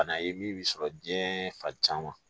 Bana ye min bɛ sɔrɔ diɲɛɛɛ fa caman